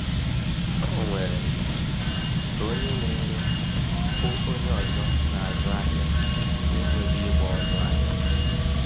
O nwere ndidi ka onye na-ere hụ onye ọzọ n'azụ ahịa na-enweghị ịgba ọnụ ahịa.